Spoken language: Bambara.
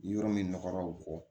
Yɔrɔ min nɔgɔra o kɔ